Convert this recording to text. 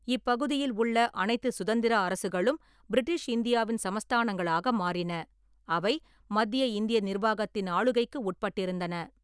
இப்பகுதியில் உள்ள அனைத்துச் சுதந்திர அரசுகளும் பிரிட்டிஷ் இந்தியாவின் சமஸ்தானங்களாக மாறின, அவை மத்திய இந்திய நிர்வாகத்தின் ஆளுகைக்கு உட்பட்டிருந்தன.